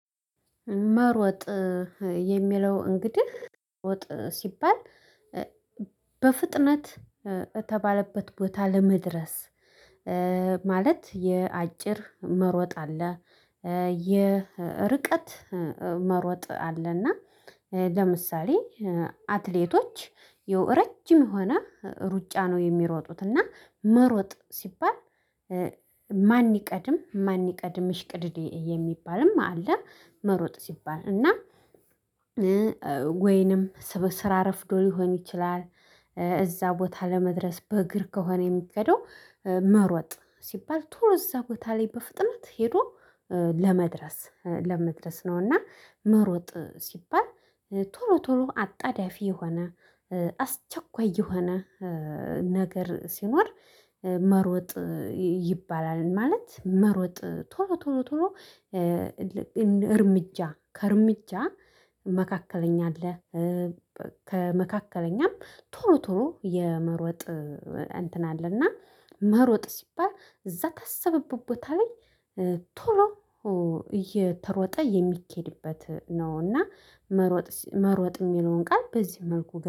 መሮጥ የሚለው እንግዲህ መሮጥ ሲባል በፍጥነት እተባለበት ቦታ ለመድረስ ማለት የአጭር መሮጥ አለ። የርቀት መሮጥ አለና ለምሳሌ አትሌቶች ያው ረጅም የሆነ ሩጫ ነው የሚሮጡት። እና መሮጥ ሲባል ማን ይቀድም ማን ይቀድም ሽቅድድም የሚባልም አለ። መሮጥ ሲባል እና ወይንም ስራ ረፍዶ ሊሆን ይችላል። እዛ ቦታ ለመድረስ በእግር ከሆነ የሚገደው መሮጥ ሲባል ቶሎ እዛ ቦታ ላይ በፍጥነት ሄዶ ለመድረስ ለመድረስ ነውና። መሮጥ ሲባል ቶሮ ቶሎ አጣዳፊ የሆነ አስቸኳይ የሆነ ነገር ሲኖር መሮጥ ይባላል። ማለት መሮጥ ቶሎ ቶሎ ቶሎ እርምጃ ከእርምጃ መካከለኛ አለ። ከመካከለኛም ቶሎ ቶሎ የመሮጥ እንትን አለና መሮጥ ሲባል እዛ እታሰበበት ቦታ ላይ ቶሎ እየተሮጠ የሚኬድበት ነው። እና መሮጥ መሮጥ እሚለውን ቃል በዚህ መልኩ